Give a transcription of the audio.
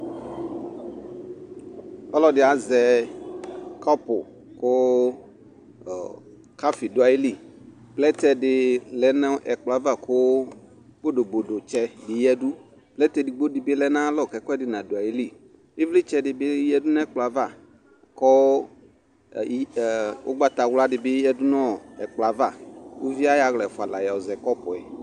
ɔlɔdi azɛ kɔpʋ kʋ coffee du ayili plɛtɛ di lɛ nu ɛkpʋlɔ aɣa Ku bodobodo tsɛ di yɛdʋ plɛtɛ dibo di bi lɛnʋ ayalɔ Ku ekuedi nadu ɛli ivlitsɛ di bi yɛdunʋ ɛkpʋlɔ aɣa kʋ ʋgbata wʋla di bi yɛdʋ nu ɛkpulɔ aɣa ku ʋvi ayɔ ala ɛfua la zɛ kɔpʋɛ